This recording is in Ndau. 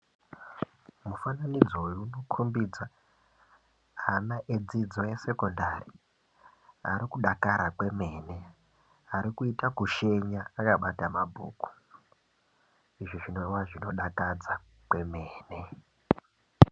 Mufananidzo uyu unokhombidza ana edzidzo yesekondari arikudakara kwemene arikuita kushenya akabata ma bhuku, izvi zvinowa zvinodakadza kwemene.